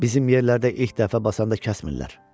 Bizim yerlərdə ilk dəfə basanda kəsmirlər.